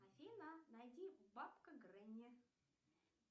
афина найди бабка гренни